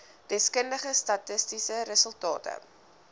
deskundige statistiese resultate